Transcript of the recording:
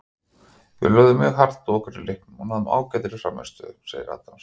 Við lögðum mjög hart að okkur í leiknum og náðum ágætri frammistöðu, sagði Adams.